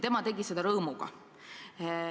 Tema tegi seda rõõmuga.